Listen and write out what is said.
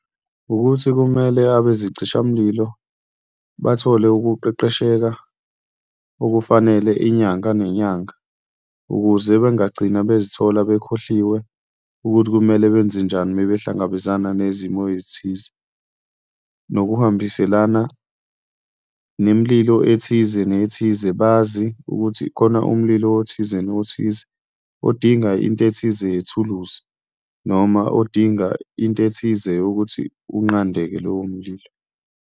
Wukuthi kumele abezicishamlilo bathole ukuqeqesheka okufanele inyanga nenyanga ukuze bengagcina bezithola bekhohliwe ukuthi kumele benze njani uma behlangabezana nezimo ezithize. Nokuhambiselana nemililo ethize nethize, bazi ukuthi khona umlilo othize nothize odinga into ethize yethuluzi, noma odinga into ethize yokuthi unqandeke lowo mlilo.